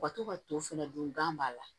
U ka to ka to fɛnɛ dun gan b'a la